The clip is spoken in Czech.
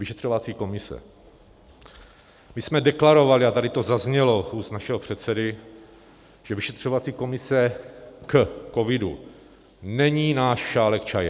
Vyšetřovací komise: my jsme deklarovali, a tady to zaznělo z úst našeho předsedy, že vyšetřovací komise k covidu není náš šálek čaje.